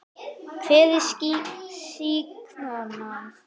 Edda: Hver er sýknan?